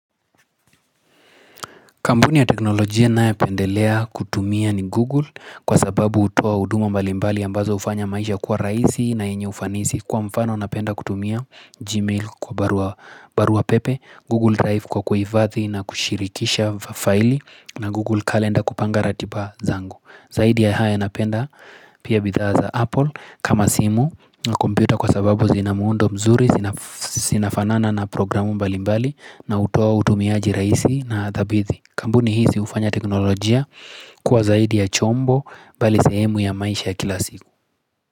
Kampuni ya teknolojia ninayopendelea kutumia ni Google kwa sababu hutoa huduma mbali mbali ambazo hufanya maisha kwa rahisi na yenye ufanisi. Kwa mfano napenda kutumia Gmail kwa barua pepe, Google Drive kwa kuhifadhi na kushirikisha faili na Google Calendar kupanga ratiba zangu. Zaidi ya haya napenda pia bidhaa Apple kama simu na kompyuta kwa sababu zina muundo mzuri, zinafanana na programu mbali mbali na hutoa utumiaji rahisi na thabiti. Kampuni hizi hufanya teknolojia kuwa zaidi ya chombo bali sehemu ya maisha ya kila siku.